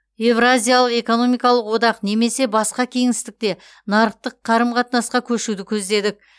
евразиялық экономикалық одақ немесе басқа кеңістікте нарықтық қарым қатынасқа көшуді көздедік